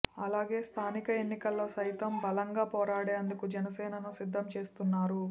అలాగే స్థానిక ఎన్నికల్లో సైతం బలంగా పోరాడేందుకు జనసేనను సిద్ధం చేస్తున్నారు